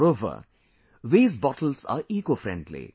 Moreover, these bottles are eco friendly